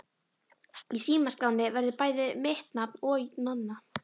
Í símaskránni verður bæði mitt nafn og Nonna.